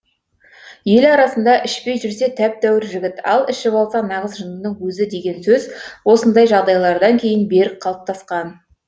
ел арасында ішпей жүрсе тәп тәуір жігіт ал ішіп алса нағыз жындының өзі деген сөз осындай жағдайлардан кейін берік қалыптасқан